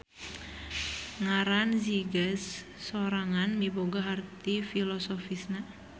Ngaran Zigaz sorangan miboga harti filosofisna.